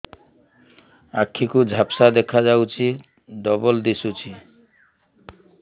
ଆଖି କୁ ଝାପ୍ସା ଦେଖାଯାଉଛି ଡବଳ ଦିଶୁଚି